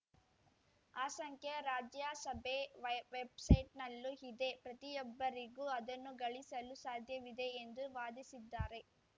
ಆ ಸಂಖ್ಯೆ ರಾಜ್ಯಸಭೆ ವೆಯ್ ವೆಬ್‌ಸೈಟ್‌ನಲ್ಲೂ ಇದೆ ಪ್ರತಿಯೊಬ್ಬರಿಗೂ ಅದನ್ನು ಗಳಿಸಲು ಸಾಧ್ಯವಿದೆ ಎಂದು ವಾದಿಸಿದ್ದಾರೆ